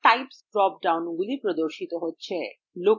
display types drop ডাউনগুলি প্রদর্শিত হয়